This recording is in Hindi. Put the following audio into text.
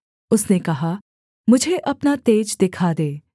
उसने कहा मुझे अपना तेज दिखा दे